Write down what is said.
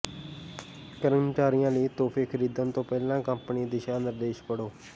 ਕਰਮਚਾਰੀਆਂ ਲਈ ਤੋਹਫ਼ੇ ਖਰੀਦਣ ਤੋਂ ਪਹਿਲਾਂ ਕੰਪਨੀ ਦਿਸ਼ਾ ਨਿਰਦੇਸ਼ ਪੜ੍ਹੋ